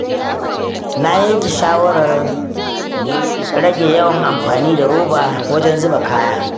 Na yanke shawarar rage yawan amfani da roba wajen zuba kaya.